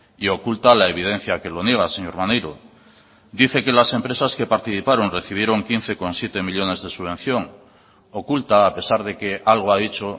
y oculta la evidencia que lo niega señor maneiro dice que las empresas que participaron recibieron quince coma siete millónes de subvención oculta a pesar de que algo ha dicho